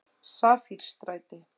Safírstræti